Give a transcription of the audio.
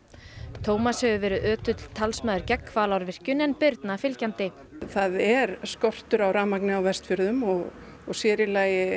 Tómas hefur verið ötull talsmaður gegn Hvalárvirkjun en Birna fylgjandi það er skortur á rafmagni á Vestjförðum og sér í lagi